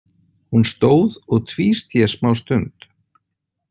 Hún stóð og tvísté smástund.